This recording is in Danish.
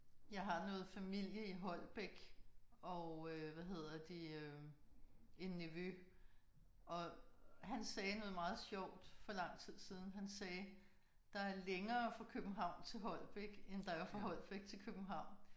Jeg har noget familie i Holbæk og øh hvad hedder det øh en nevø og han sagde noget meget sjovt for lang tid siden. Han sagde der er længere fra København til Holbæk end der er fra Holbæk til København